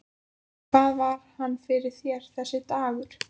Hvað var hann fyrir þér, þessi dagur.